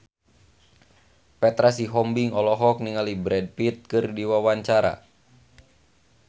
Petra Sihombing olohok ningali Brad Pitt keur diwawancara